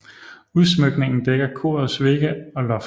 Udsmykningen dækker korets vægge og loft